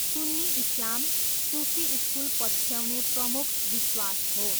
सुन्नी इस्लाम, सुफी स्कुल पछ्याउने प्रमुख विश्वास हो।